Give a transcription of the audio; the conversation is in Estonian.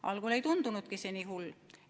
Algul ei tundunudki see nii hull.